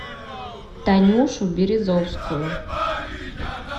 танюшу березовскую